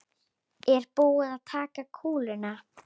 Er búið að taka kúluna?